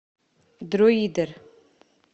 друидер